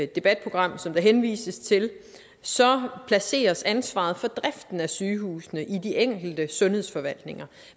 debatprogram som der henvises til så placeres ansvaret for driften af sygehusene i de enkelte sundhedsforvaltninger